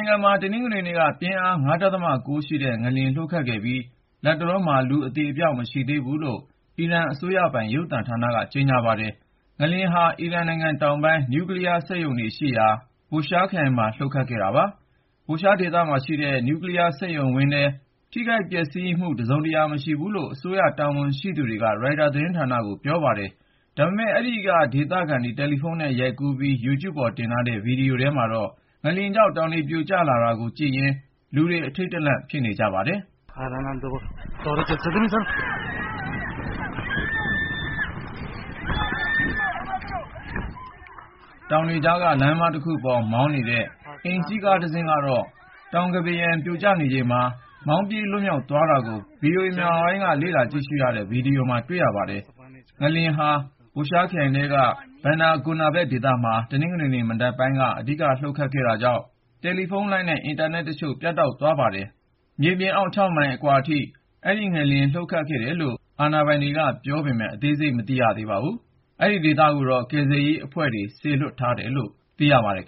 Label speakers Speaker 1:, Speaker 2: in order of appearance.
Speaker 1: ုင်ငံမှာ တနင်္ဂနွေနေ့က ပြင်းအား (၅.၉)ရှိတဲ့ ငလျင် လှုပ်ခတ်ခဲ့ပြီး လတ်တလောမှာ လူ အသေအပျောက် မရှိဘူးလို့ အီရန်အစိုးရပိုင် ရုပ်သံသတင်းက ကြေညာပါတယ်။ ငလျင်ဟာ အီရန်နိုင်ငံတောင်ပိုင်း နျူကလီးယား စက်ရုံရှိတဲ့ Bushehr ခရိုင်မှာ လှုပ်ခတ်ခဲ့တာပါ။ Bushehr ဒေသမှာရှိတဲ့ နျူကလီးယား စက်ရုံဝင်းထဲမှာ ထိခိုက်ပျက်စီးမှု တစုံတရာ မရှိဘူးလို့ အစိုးရတာဝန်ရှိ သူတွေက ရိုက်တာ သတင်းဌာနကို ပြောပါတယ်။ ဒါပေမဲ့ အဲဒီက ဒေသခံတွေ တယ်လီဖုန်းနဲ့ ရိုက်ကူးပြီး Youtube ပေါ်တင်ထားတဲ့ ဗီဒီယိုထဲမှာတော့ ငလျင်ကြောင့် တောင်တွေပြိုကျ လာတာကိုကြည့်ရင်း လူတွေ အထိန့်တလန့် ဖြစ်ခဲ့ကြပါတယ်။ တောင်တွေကြားက လမ်းမတခုပေါ် မောင်းနေတဲ့ အိမ်စီးကားတစင်းကတော့ တောင်းကမ်းပါးရံ ပြိုကျနေချိန်မှာ မောင်းပြေး လွတ်မြောက်သွားခဲ့တာကို VOA မြန်မာပိုင်းက လေ့လာကြည့်ရှုရတဲ့ ဗီဒီယိုမှာ တွေ့ရပါတယ်။ ငလျင်ဟာ Bushehr ခရိုင်ထဲက Bandar Gonaveh ဒေသမှာ တနင်္ဂနွေမနက်ပိုင်းက အဓိကလှုပ်ခဲ့တာကြောင့် တယ်လီဖုန်းလိုင်းနဲ့ အင်တာနက်တချို့ ပြတ်တောက်သွားပါတယ်။ ဒီငလျင်ဟာ မြေပြင်အောက် (၆)မိုင် အနက် အကွာဝေးထိ လှုပ်ခဲ့တယ်လို့ အာဏာပိုင်တွေ ပြောပေမယ့် အသေးစိတ်ကို မသိရ သေးပါဘူး။ ကယ်ဆယ်ရေးအဖွဲ့ တွေကိုတော့ စေလွှတ်ထားတယ်လို့ ပြောပါတယ်။